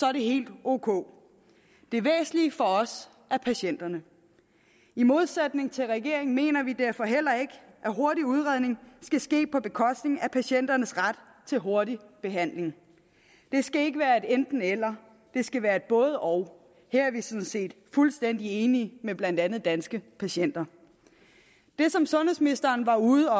er det helt ok det væsentlige for os er patienterne i modsætning til regeringen mener vi derfor heller ikke at hurtig udredning skal ske på bekostning af patienternes ret til hurtig behandling det skal ikke være et enten eller det skal være et både og her er vi sådan set fuldstændig enige med blandt andet danske patienter det som sundhedsministeren var ude